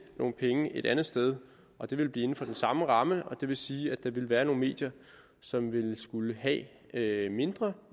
nogle penge et andet sted og det vil blive inde for den samme ramme det vil sige at der vil være nogle medier som vil skulle have have mindre